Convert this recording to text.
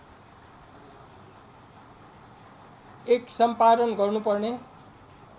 १ सम्पादन गर्नु पर्ने